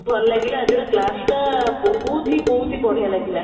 ଭଲ ଲାଗିଲା ଆଜିର class ଟା ବହୁତ ହି ବହୁତ ବଢିଆ ଲାଗିଲା